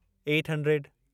eight hundred